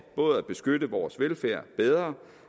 både at beskytte vores velfærd bedre